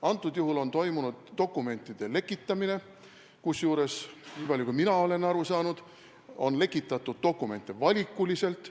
Antud juhul on toimunud dokumentide lekitamine, kusjuures – nii palju kui mina aru olen saanud – dokumente on lekitatud valikuliselt.